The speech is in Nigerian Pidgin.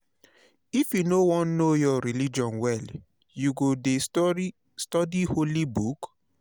if you wan know your religion well you go det study holy book.